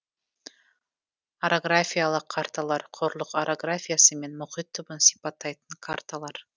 орографиялық карталар құрлық орографиясы мен мұхит түбін сипаттайтын карталар